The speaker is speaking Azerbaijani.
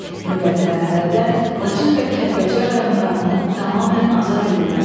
Növbəti mərhələdə Laçın və Kəlbəcər rayonlarının tamamilə azad edilməsi.